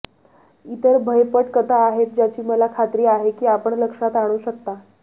इतर भयपट कथा आहेत ज्याची मला खात्री आहे की आपण लक्षात आणू शकता